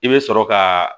I bɛ sɔrɔ ka